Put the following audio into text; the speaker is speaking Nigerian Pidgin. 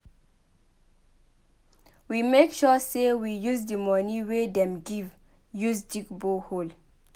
We make sure sey we use di money wey dem give use dig borehole.